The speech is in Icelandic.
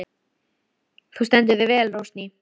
Þú stendur þig vel, Rósný!